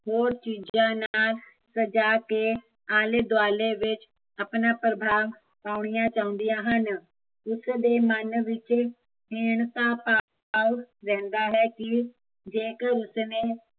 ਹੋਰ ਚੀਜ਼ਾਂ ਨਾਲ਼ ਸਜ਼ਾ ਕੇ ਆਲੇ ਦੁਆਲੇ ਵਿੱਚ ਆਪਣਾ ਪ੍ਰਭਾਵ ਪਾਉਣੀਆ ਚਾਹੁੰਦੀਆ ਹਨ ਉਸਦੇ ਮਨ ਵਿੱਚ ਹੀਣਤਾ ਭਾਵ ਰਹਿੰਦਾ ਹੈ ਕੀ ਜੇਕਰ ਉਸਨੇ